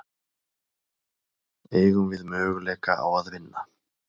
Eigum við möguleika á að vinna?